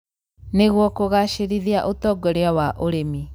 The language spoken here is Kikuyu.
nĩguo kũgacĩrithia ũtongoria wa ũrĩmi.